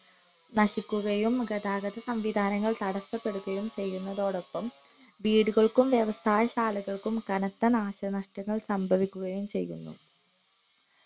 നശിക്കുകയും ഗതാഗത സംവിധാനങ്ങൾ തടസപ്പെടുകയും ചെയ്യുന്നതോടപ്പം വീടുകൾക്കും വ്യവസായ ശാലകൾക്കും കനത്ത നാശനഷ്ടങ്ങൾ ചെയ്യുന്നു